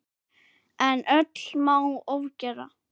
En öllu má ofgera.